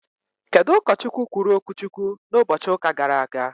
Kedụ ụkọ Chukwu kwuru okwu Chukwu na ụbọchị ụka gara aga?